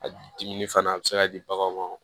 A diminni fana a bɛ se ka di baganw ma